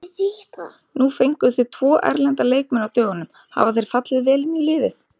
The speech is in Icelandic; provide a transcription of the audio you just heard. Nú fenguð þið tvo erlenda leikmenn á dögunum, hafa þeir fallið vel inn í liðið?